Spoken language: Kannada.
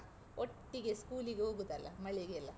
ಒಟ್ಟಿಗೆ school ಗೆ ಹೋಗುದಲ್ಲ, ಮಳೆಗೆಲ್ಲ.